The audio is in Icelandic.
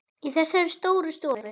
Í þessari stóru stofu?